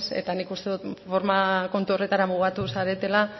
nik uste dut forma kontu horretara mugatu zaretela